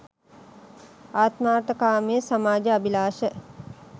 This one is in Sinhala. ආත්මාර්ථකාමී සමාජ අභිලාෂ